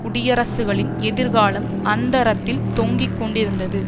குடியரசுகளின் எதிர்காலம் அந்தரத்தில் தொங்கிக்கொண்டிருந்தது